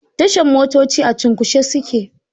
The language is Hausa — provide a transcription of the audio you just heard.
Tashan motoci a cunkushe suke